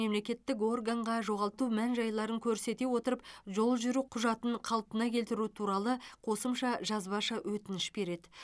мемлекеттік органға жоғалту мән жайларын көрсете отырып жол жүру құжатын қалпына келтіру туралы қосымша жазбаша өтініш береді